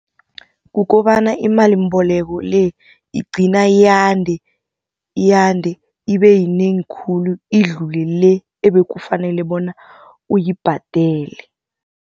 Kukobana imalimboleko le igcina yande, yande ibe yinengi khulu idlule le ebekufanele bona uyibhadele.